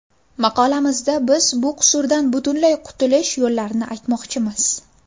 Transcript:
Maqolamizda biz bu qusurdan butunlay qutulish yo‘llarini aytmoqchimiz.